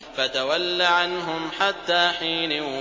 فَتَوَلَّ عَنْهُمْ حَتَّىٰ حِينٍ